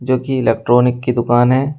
क्यूंकि इलेक्ट्रॉनिक की दुकान है।